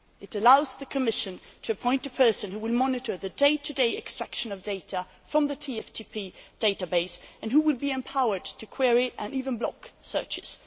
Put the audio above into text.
It allows the Commission to appoint a person who will monitor the day to day extraction of data from the TFTP database and who will be empowered to query and even block searches.